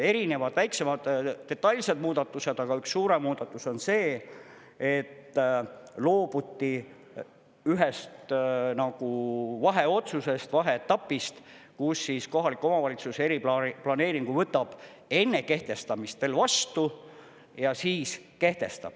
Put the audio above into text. Erinevad väiksemad detailsed muudatused, aga üks suurem muudatus on see, et loobuti ühest nagu vaheotsusest, vaheetapist, kus kohaliku omavalitsus eriplaneeringu võtab enne kehtestamist veel vastu ja siis kehtestab.